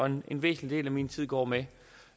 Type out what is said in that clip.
en væsentlig del af min tid går med